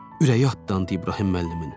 Ürəyi atlandı İbrahim müəllimin.